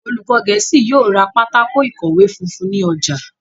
olùkó gèésì yóò rá Pátákó ìkọ̀wé funfun ní ojà.